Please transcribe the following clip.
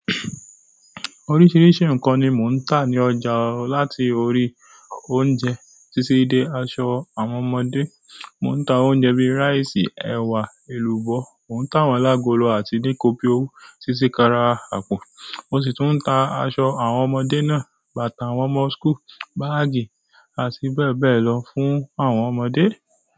Oríṣiríṣi nǹkan ni mò ń tà ní ọ̀jà láti orí oúnjẹ títí dé aṣọ àwọn ọmọdé. Mò ń ta oúnjẹ bíi ráìsì, ẹwa, èlùbọ́. Mò ń ta àwọn alágolo àti níkóbíowú títí kán arà àpò. Mo sì tún ń ta aṣọ àwọn ọmọdé náà, bàtà àwọn ọmọ school, báágì àti bẹ́ẹ̀ bẹ́ẹ̀ lọ fún àwọn ọmọdé.